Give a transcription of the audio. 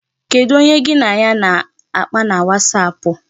Kedu onye gị na ya na-akpa na wasapụ?